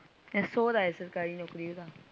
ਇਹ ਸੋਹਰਾ ਐ ਸਰਕਾਰੀ ਨੋਕਰੀ ਓਹਦਾ।